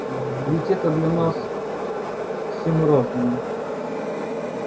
ведь это для нас все мы разные